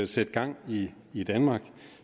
sætte gang i i danmark